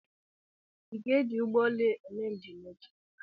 Ị ga-eji ụgbọ elu eme njem echi?